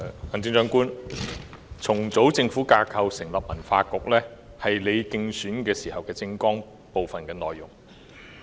行政長官，重組政府架構以成立文化局，是你的競選政綱的內容之一。